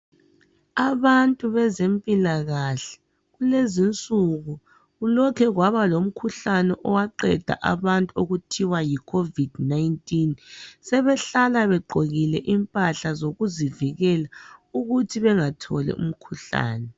Abantu bezempilakahle kulezinsuku kulokhu kwaba lomkhuhlane owaqeda abantu okuthiwa yiCOVID19 sebehlala begqokile impahla zokuzivikela ukuthi bengatholi umkhuhlane.